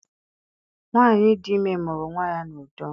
Nwaanyi dị ime mụrụ nwa ya n'udo.